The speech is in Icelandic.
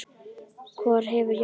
Hvorugt hefur jafnað sig.